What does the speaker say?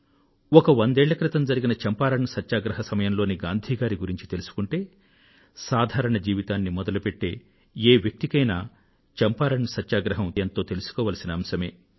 ఒక వందేళ్ల క్రితం జరిగిన చంపారణ్ సత్యాగ్రహ సమయంలోని గాంధీ గారి గురించి తెలుసుకుంటే సాధారణ జీవితాన్ని మొదలుపెట్టే ఏ వ్యక్తికైనా చంపారణ్ సత్యాగ్రహం ఎంతో తెలుసుకోవలసిన అంశమే